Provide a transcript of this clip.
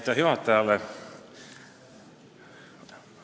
Aitäh juhatajale!